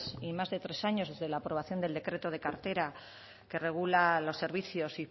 y más de tres años desde la aprobación del decreto de cartera que regula los servicios